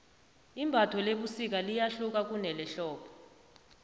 imbatho lebusika liyahluka kunelehlobo